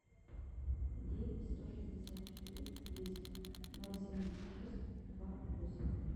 девять сто шестьдесят четыре двести ноль семьдесят шесть два восемь